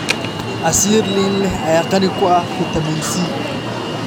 Casiir liin leh ayaa qani ku ah fitamiin C.